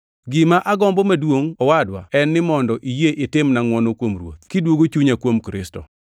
Gima agombo maduongʼ, owadwa, en ni mondo iyie itimna ngʼwono kuom Ruoth, kidwogo chunya kuom Kristo.